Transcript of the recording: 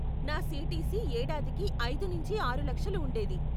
నా సీటీసీ ఏడాదికి ఐదు నుంచి ఆరు లక్షలు ఉండేది .